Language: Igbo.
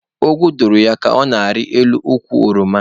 Ogwu dụrụ ya ka ọ na-arị elu ukwu oroma.